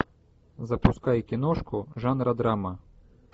запускай киношку жанра драма